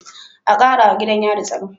A Karawa gidan yari tsaro